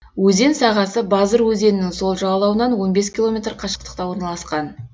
өзен сағасы базыр өзенінің сол жағалауынан он бес километр қашықтықта орналасқан